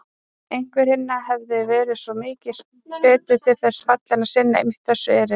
Einhver hinna hefði verið svo mikið betur til þess fallinn að sinna einmitt þessu erindi.